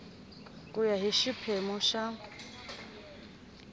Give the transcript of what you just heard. ku ya hi xiphemu xa